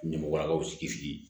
Ɲamalakaw sigi sigi